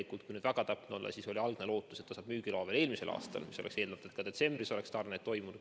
Kui nüüd väga täpne olla, siis oli algne lootus, et firma saab müügiloa juba eelmisel aastal, mis oleks lubanud eeldada, et ka detsembris oleks tarned toimunud.